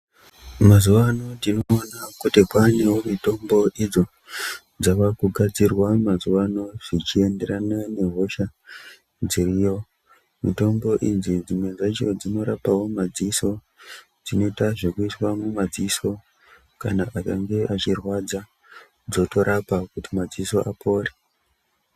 Mazuva anawa tinoona kuti kwanewo mitombo idzo dzavakugadzirwa mazuva ano zvichienderana nehosha dziriyo mitombo idzi dzimwe dzacho dzinorapawo madziso dzinoita zvekuisa mumadziso kana akange achirwadza zvotorapa kuti apore.